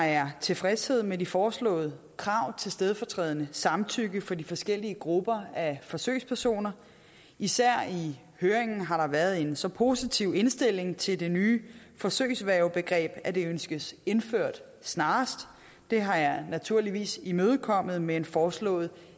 er tilfredshed med de foreslåede krav til stedfortrædende samtykke for de forskellige grupper af forsøgspersoner især i høringen har der været en så positiv indstilling til det nye forsøgsværgebegreb at det ønskes indført snarest det har jeg naturligvis imødekommet med en foreslået